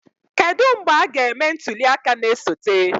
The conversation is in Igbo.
Kedu mgbe a ga-eme ntuli aka na-esote?